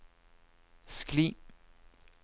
skli